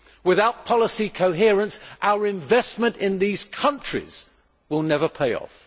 Without policy coherence our investment in these countries will never pay off.